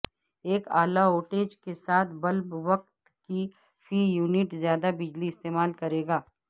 ایک اعلی وٹٹیج کے ساتھ بلب وقت کی فی یونٹ زیادہ بجلی استعمال کرے گا